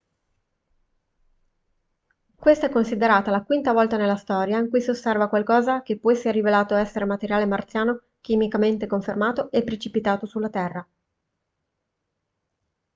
questa è considerata la quinta volta nella storia in cui si osserva qualcosa che poi si è rivelato essere materiale marziano chimicamente confermato e precipitato sulla terra